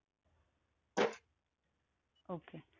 Okay.